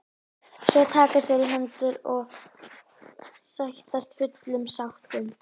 Ari lét senda eftir Þorleifi og Þórunni systur sinni.